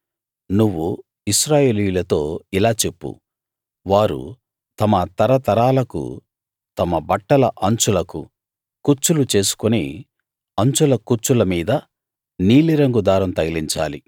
నువ్వు ఇశ్రాయేలీయులతో ఇలా చెప్పు వారు తమ తరతరాలకు తమ బట్టల అంచులకు కుచ్చులు చేసుకుని అంచుల కుచ్చుల మీద నీలిరంగు దారం తగిలించాలి